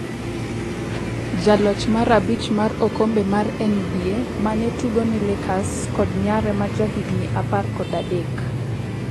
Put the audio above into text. jaloch mar abich mar okombe mar NBA mane tugo ne Lakers kod nyare majahigni apar kod adek